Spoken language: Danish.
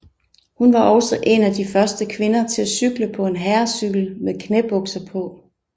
Hun var også en af de første kvinder til at cykle på en herrecykel med knæbukser på